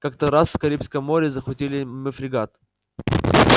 как-то раз в карибском море захватили мы фрегат